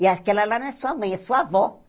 E aquela lá não é sua mãe, é sua avó.